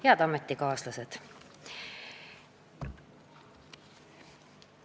Head ametikaaslased!